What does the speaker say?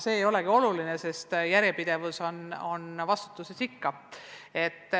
See ei olegi oluline, sest järjepidevus on vastutuses ikka.